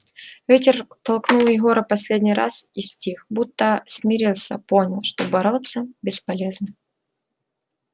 ветер толкнул егора последний раз и стих будто смирился понял что бороться бесполезно